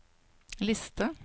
liste